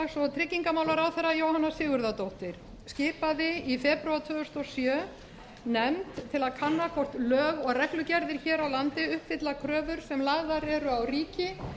og sjö af háttvirts þingmanns jóhönnu sigurðardóttur þáverandi félags og tryggingamálaráðherra til að kanna hvort lög og reglugerðir hér á landi uppfylla kröfur sem lagðar eru á ríki